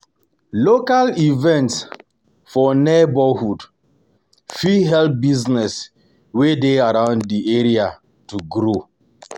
Local events for neigbohood for neigbohood fit help business wey dey around di area to grow